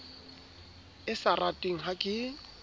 e sa ratweng ha ke